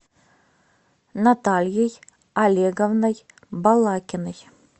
натальей олеговной балакиной